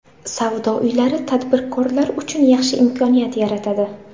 Savdo uylari tadbirkorlar uchun yaxshi imkoniyat yaratadi.